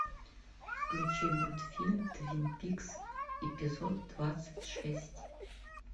включи мультфильм твин пикс эпизод двадцать шесть